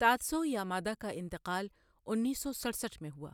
Tatsuo Yamada کا انتقال انیس سو سڑسٹھ میں ہوا۔